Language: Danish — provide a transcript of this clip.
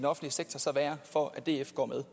offentlige sektor så være for at df går med